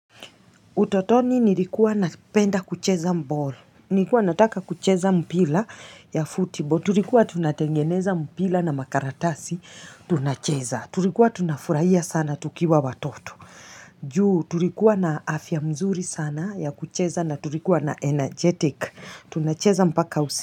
Utotoni nilikuwa napenda kucheza balll, nilikuwa nataka kucheza mpira ya football, tulikuwa tunatengeneza mpira na makaratasi, tunacheza, tulikuwa tunafurahia sana tukiwa watoto, juu tulikuwa na afya mzuri sana ya kucheza na tulikuwa na energetic, tunacheza mpaka usi.